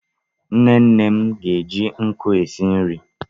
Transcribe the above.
nne nne m ga-eji nkụ esi nri